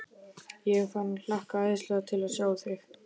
Ég er farinn að hlakka æðislega til að sjá þig.